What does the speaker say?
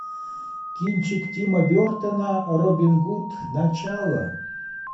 кинчик тима бертона робин гуд начало